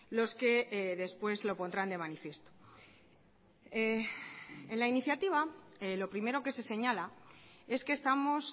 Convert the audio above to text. los que después lo pondrán de manifiesto en la iniciativa lo primero que se señala es que estamos